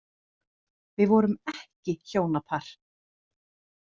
Við vorum ekki hjónapar.